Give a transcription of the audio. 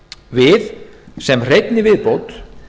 við sem hreinni viðbót